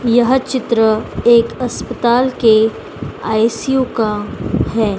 यह चित्र एक अस्पताल के आई_सी_यू का है।